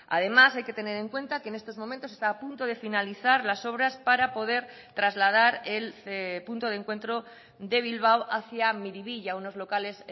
además hay que tener en cuenta que en estos momentos está a punto de finalizar las obras para poder trasladar el punto de encuentro de bilbao hacia miribilla unos locales